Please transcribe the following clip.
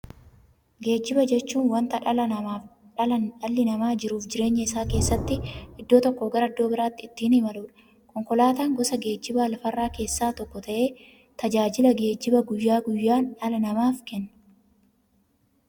Geejjiba jechuun wanta dhalli namaa jiruuf jireenya isaa keessatti iddoo tokkoo gara iddoo birootti ittiin imaluudha. Konkolaatan gosa geejjibaa lafarraa keessaa tokko ta'ee, tajaajila geejjibaa guyyaa guyyaan dhala namaaf kenna.